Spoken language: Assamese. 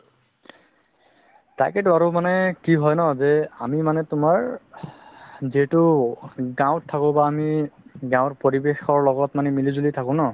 তাকেইটো আৰু মানে কি হয় ন যে আমি মানে তুমাৰ যিহেতু গাওত থাকো বা আমি গাওৰ পৰিৱেশৰ লগত মিলি জুলি থাকো ন